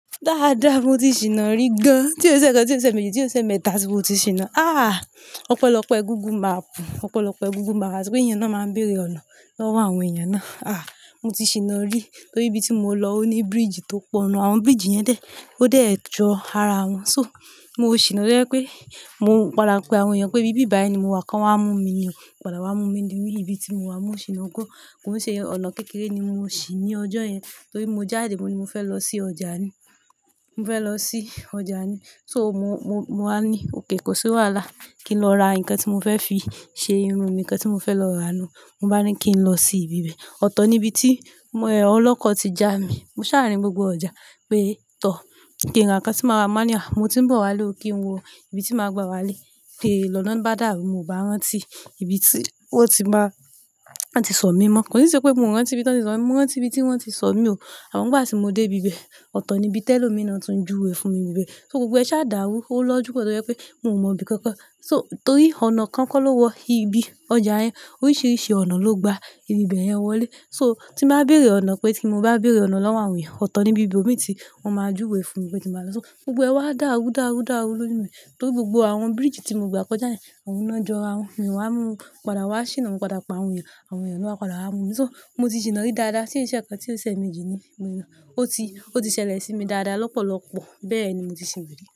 Dáadáa, mo ti ṣìná rí gan. Tí ó ṣe ẹ̀kan, tí ó ṣe ẹméjì, tí ó ṣe ẹmẹ́ta, tí mo ti ṣìná. Ah! Ọ̀pẹ̀lọpẹ̀ google mapu, ọ̀pẹ̀lọpẹ̀ google ma. Àti pé èyàn náà máa ń béèrè ọ̀nà lọ́wọ́ àwọn èèyàn náà. Ah! Mo ti ṣìná rí torí ibi tí mo lọ ó ní bridge tó pọ̀, àwọn bridge yẹn dé, ó dé ẹ jọ ara wọn. So, mo ṣìná tó jẹ́ pé mo padà pe àwọn èèyàn pé ibí bi báyìí ni mo wà, kan wá mú mi ni, wọ́n padà wá mú mi ní ibi tí mo wà. Mo ṣìná gán. Kò e ṣe ọ̀nà kékeré ni mo ṣì ní ọjọ́ yẹn torí mo jáde, mo ní mo fẹ́ lọ sí ọjà ni. Mo fẹ́ lọ sí ọjà ni. So, mo, mo, mo wá ní òkay kò sí wàhálà kí n lọ ra nǹkan tí mo fẹ́ fi ṣe irun mi, nǹkan tí mo fẹ́ lọ rà nu wọn bá ní kí n lọ sí ibi bẹ́ẹ̀. Ọ̀tọ̀ ni ibi tí ọlọ́kọ̀ ti já mi. Mo ṣá à rín gbogbo ọjà pé tọ̀. Kìí n ra nǹkan tí màá ra. Mọ ba ní à mo ti ń bọ̀ wálé o, kí n wo ibi tí màá gba wálé. Lọ́nà bá dàrú, mo ò bá rántí ibi tí wọ́n ti máa wọn ti sọ mí mọ́. Kò sí ṣe pé mi ò rántí ibi tí wọ́n ti sọ̀ mí, mo rántí ibi tí wọ́n ti sọ̀ mí o. Àmọn n gbà tí mo dé ibi bẹ́ẹ̀, ọ̀tọ̀ ni ibi tẹ́lomi náà tún juwe fún mi ibi bẹ́ẹ̀. So gbogbo ẹ ṣa dàrú. Ó lọ́jú pọ̀ tó jẹ́ pé mò mọ ibi kankan. So torí ọ̀nà kan kọ́ ló wọ ibi ọjà yẹn. Oríṣiríṣi ọ̀nà ló gba ibi bẹ́ẹ̀ yẹn wọlé. So tí màá béèrè ọ̀nà pé tí mo bá béèrè ọ̀nà lọ́wọ́ àwọn èèyàn, ọ̀tọ̀ ni ibi ibo mi tí wọ́n máa júwe fún mi pé tí màá lọ. So gbogbo ẹ wá dàrú dàrú dàrú lójú mi torí gbogbo àwọn bridge tí mo gbà kọjá yẹn, àwọn náà jọ ara wọn. Èyan wá mú, padà wá ṣìnà, mo padà pe àwọn èèyàn, àwọn èèyàn ló wá padà wá mú mi. So mo ti ṣìná rí dáadáa. Tí í ṣe ẹ̀kan, tí ó ṣe méjì ni mo lọ ó ti, ó ti ṣẹlẹ̀ sí mi dáadáa lọ́pọ̀lọpọ̀. Bẹ́ẹ̀ ni mo ti ṣìná rí.